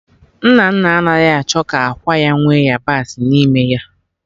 Nnanna anaghị achọ ka ákwà ya nwee yabasị n'ime ya